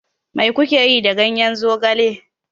Mai ku ke yi da ganyen zogale?